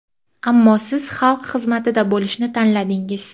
Ammo siz xalq xizmatida bo‘lishni tanladingiz.